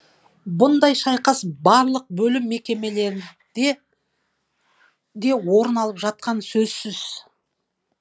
бұндай шайқас барлық бөлім мекемелерде де орын алып жатқаны сөзсіз